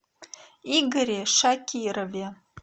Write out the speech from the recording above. игоре шакирове